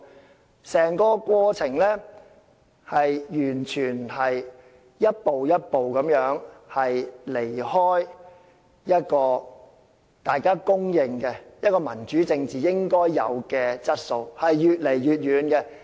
在整個過程中，完全是一步一步離開大家所公認民主政治應具備的質素，越走越遠。